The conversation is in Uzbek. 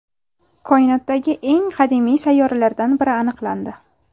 Koinotdagi eng qadimiy sayyoralardan biri aniqlandi.